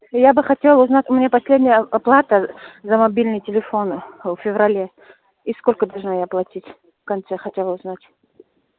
и я бы хотел узнать у меня последняя оплата за мобильный телефон в феврале и сколько должны оплатить в конце хотела узнать